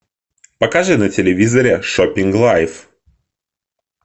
покажи на телевизоре шопинг лайв